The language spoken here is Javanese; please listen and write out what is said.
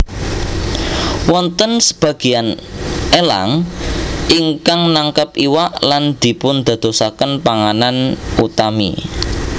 Wonten sabagéyan elang ingkang nangkep iwak lan dipundadosaken panganan utami